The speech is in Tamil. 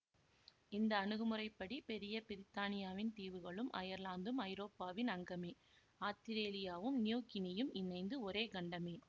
இந்த அணுகுமுறைப்படி பெரிய பிரித்தானியாவின் தீவுகளும் அயர்லாந்தும் ஐரோப்பாவின் அங்கமே ஆத்திரேலியாவும் நியூ கினியும் இணைந்து ஒரே கண்டமே